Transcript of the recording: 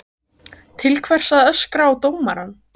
Til hvers að öskra á dómarann?